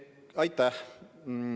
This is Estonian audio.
Aitäh!